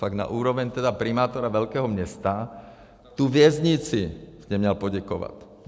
Fakt na úroveň tedy primátora velkého města - tu věznici jste měl poděkovat.